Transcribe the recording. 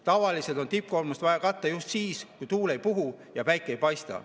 Tavaliselt on tippkoormuse ajal tarvis katta just siis, kui tuul ei puhu ja päike ei paista.